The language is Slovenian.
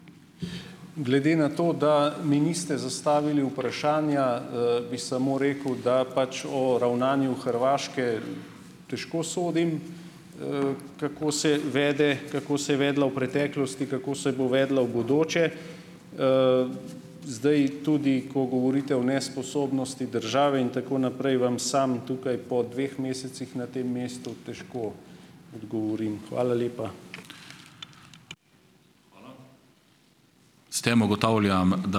Glede na to, da mi niste zastavili vprašanja, bi samo rekel, da pač o ravnanju Hrvaške težko sodim, kako se vede, kako se je vedla v preteklosti, kako se bo vedla v bodoče. Zdaj tudi, ko govorite o nesposobnosti države in tako naprej, vam sam tukaj po dveh mesecih na tem mestu težko odgovorim. Hvala lepa.